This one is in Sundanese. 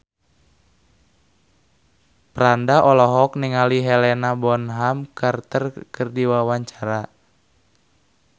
Franda olohok ningali Helena Bonham Carter keur diwawancara